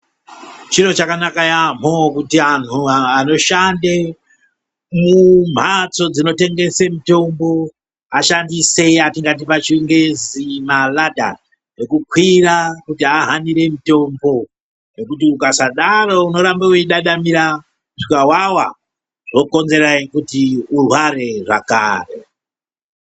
Chiro chakanaka yamho kuti anhu anoshande mu mhatso dzino tengese mitombo ashandise yatingati pa chingezi ma ladha eku kwira kuti ahanire mutombo nekuti ukasadaro uno ramba uchi dadamira kusvika wawa zvokonzera kuti urware zvakare.